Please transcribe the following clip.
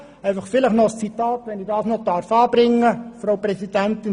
Frau Grossratspräsidentin, vielleicht darf ich noch ein Zitat anbringen.